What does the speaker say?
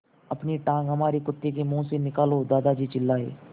अपनी टाँग हमारे कुत्ते के मुँह से निकालो दादाजी चिल्लाए